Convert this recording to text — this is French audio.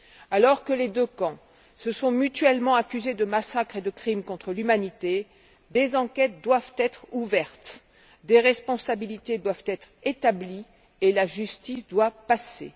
Alors que les deux camps se sont mutuellement accusés de massacres et de crimes contre l'humanité, des enquêtes doivent être ouvertes, des responsabilités doivent être établies et la justice doit passer.